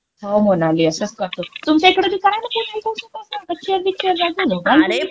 हो मोनाली, असंच करतो. तुमच्या इकड बी करा न पुण्याले तसं तस. गच्चीवर बिच्चीवर जात जा झोपायले तुम्ही.